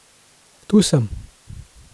Tu sem.